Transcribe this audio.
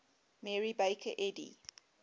mary baker eddy